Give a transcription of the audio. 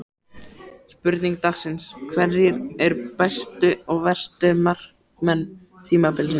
Spurning dagsins: Hverjir eru bestu og verstu markmenn tímabilsins?